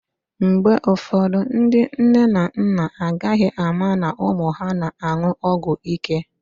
Mgbe ụfọdụ, ndị nne na nna agaghị ama na ụmụ ha na-an̄ụ ọgwụíké